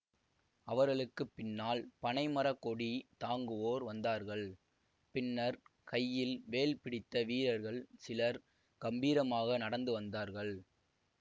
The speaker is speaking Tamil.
அவர்களுக்கு பின்னால் பனைமரக் கொடி தாங்குவோர் வந்தார்கள் பின்னர் கையில் வேல் பிடித்த வீரர்கள் சிலர் கம்பீரமாக நடந்து வந்தார்கள்